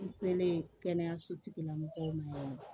N selen kɛnɛyaso tigila mɔgɔw ma yen nɔ